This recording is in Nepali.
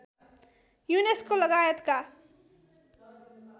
युनेस्को लगायतका